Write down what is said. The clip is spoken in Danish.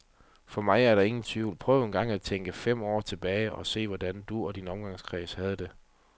For mig er der ingen tvivl, prøv engang og tænk fem år tilbage og se hvordan du og din omgangskreds havde det.